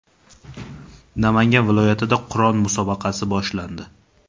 Namangan viloyatida Qur’on musobaqasi boshlandi.